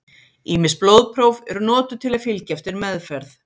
Ýmis blóðpróf eru notuð til að fylgja eftir meðferð.